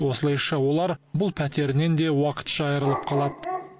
осылайша олар бұл пәтерінен де уақытша айырылып қалады